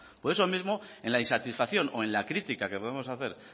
por eso mismo en la insatisfacción o en la critica que podemos hacer